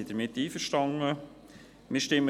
Wir sind einverstanden damit.